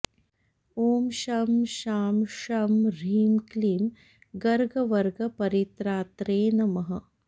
ॐ शं शां षं ह्रीं क्लीं गर्गवर्गपरित्रात्रे नमः